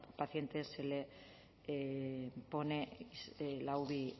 pacientes se le pone la uvi